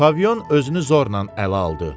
Pavion özünü zorla ələ aldı.